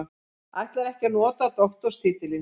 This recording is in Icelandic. Ætlar ekki að nota doktorstitilinn